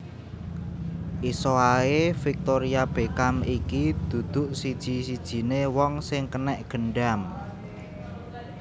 Iso ae Victoria Beckham iki duduk siji sijine wong sing kenek gendam